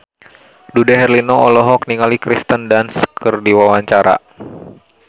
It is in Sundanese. Dude Herlino olohok ningali Kirsten Dunst keur diwawancara